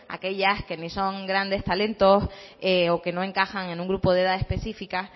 aquellas que ni son grandes talentos o que no encajan en un grupo de edad específica